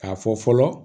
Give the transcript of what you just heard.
K'a fɔ fɔlɔ